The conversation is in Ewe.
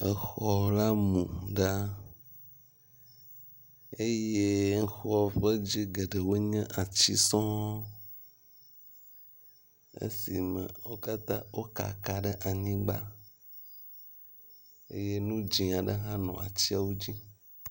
Exɔ la mu gã eye exɔ ƒe dzi geɖewo nye atsi sɔŋŋ esime wo katã wo kaka ɖe anyigba eye nu dzẽ aɖe hã nɔ atsiawo dzi.